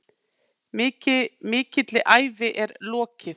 Mikilli ævi er lokið.